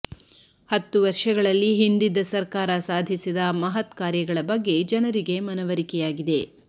ಹತ್ತು ವರ್ಷಗಳಲ್ಲಿ ಹಿಂದಿದ್ದ ಸರ್ಕಾರ ಸಾಧಿಸಿದ ಮಹತ್ಕಾರ್ಯಗಳ ಬಗ್ಗೆ ಜನರಿಗೆ ಮನವರಿಕೆಯಾಗಿದೆ